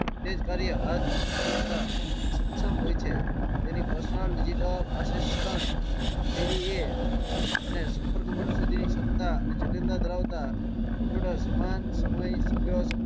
તે જ કાર્ય. આજ કરતા સક્ષમ હોય છે. પર્સનલ ડિજિટલ આસિસ્ટન્ટ પીએ અને સુપર કમ્પ્યુટર સુધી ની ક્ષમતા અને જટિલતા ધરાવતા કમ્પ્યુટર સમાન, સમય, સન્ગ્રહ